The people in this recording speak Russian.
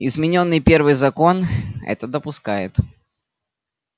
изменённый первый закон это допускает